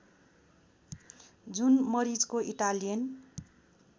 जुन मरिचको इटालियन